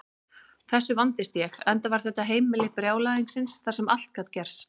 Þessu vandist ég, enda var þetta heimili brjálæðisins þar sem allt gat gerst.